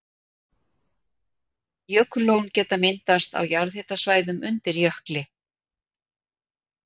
Jökullón geta myndast á jarðhitasvæðum undir jökli.